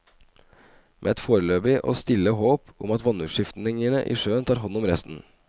Med et foreløpig og stille håp om at vannutskiftningene i sjøen tar hånd om resten.